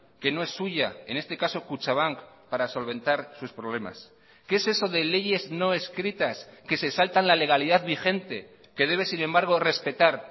que no es suya en este caso kutxabank para solventar sus problemas qué es eso de leyes no escritas que se saltan la legalidad vigente que debe sin embargo respetar